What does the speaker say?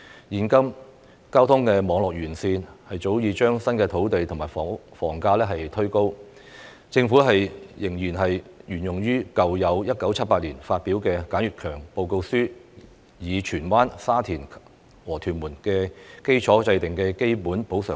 現時交通網絡完善早已推高新界土地及房價，但政府仍然沿用1978年發表的簡悅強報告書中，以荃灣、沙田和屯門為基礎制訂的基本補償率。